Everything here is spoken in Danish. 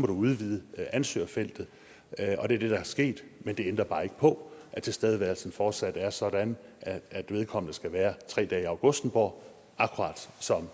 man udvide ansøgerfeltet og det er det der er sket men det ændrer bare ikke på at tilstedeværelsen fortsat er sådan at vedkommende skal være tre dage i augustenborg akkurat som